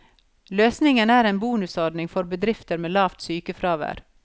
Løsningen er en bonusordning for bedrifter med lavt sykefravær.